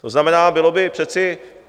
To znamená, bylo by přece...